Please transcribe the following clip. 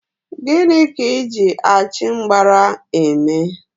Gịnị ka Ị ji achịmgbara eme?